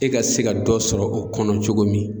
E ka se ka dɔ sɔrɔ o kɔnɔ cogo min